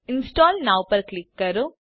install now પર click કરો